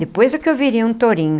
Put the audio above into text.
Depois é que eu virei um tourinho.